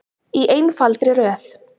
Í einfaldri röð.